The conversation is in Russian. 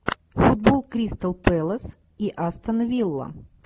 футбол кристал пэлас и астон вилла